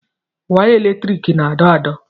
Waya eletriki na-adọ adọ̀.